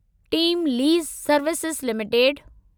team Lease Services limited